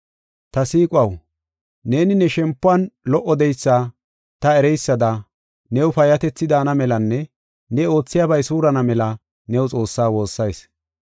Ta siiquwaw, neeni ne shempuwan lo77o de7eysa ta ereysada new payyatethi daana melanne ne oothiyabay suurana mela new Xoossaa woossayis.